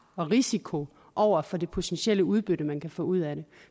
og risiko over for det potentielle udbytte man kan få ud af det